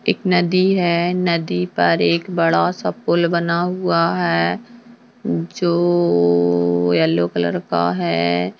एक नदी है नदी पर एक बड़ा सा पुल बना हुआ है जो येल्लो-लो-लो-लो कलर का है।